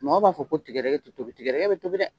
Mɔgɔw b'a fɔ ko tigɛdɛgɛ tɛ tobi, tigɛdɛgɛ bɛ tobi dɛ !